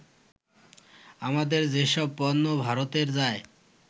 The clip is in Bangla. আমাদের যেসব পণ্য ভারতে যায়